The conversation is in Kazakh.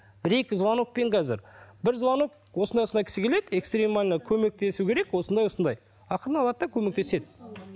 бір екі звонокпен қазір бір звонок осындай осындай кісі келеді экстремально көмектесу керек осындай осындай ақырын алады да көмектеседі